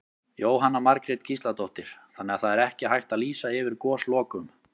Jóhanna Margrét Gísladóttir: Þannig að það er ekki hægt að lýsa yfir goslokum?